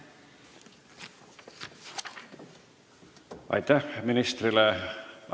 Aitäh ministrile!